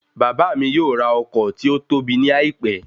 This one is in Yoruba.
Bàbá mi yóò rà ọkọ̀ tí ótóbi ní àìpẹ́